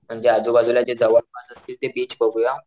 म्हणजे आजू बाजूला जे जवळपास असतील ते बीच बघूया,